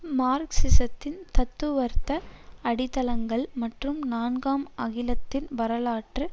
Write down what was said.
மார்க்ஸிஸத்தின் தத்துவார்த்த அடித்தளங்கள் மற்றும் நான்காம் அகிலத்தின் வரலாற்று